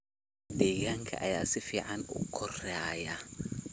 Digaagga ayaa si fiican u koraya.